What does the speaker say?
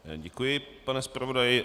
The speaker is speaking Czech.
Děkuji, pane zpravodaji.